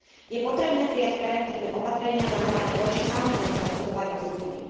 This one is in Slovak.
Je potrebné prijať preventívne opatrenia zamerané voči samotnému obchodovaniu s ľuďmi.